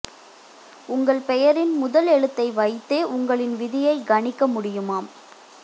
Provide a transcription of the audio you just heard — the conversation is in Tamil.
உங்களின் பெயரின் முதல் எழுத்தை வைத்தே உங்களின் விதியை கணிக்க முடியுமாம்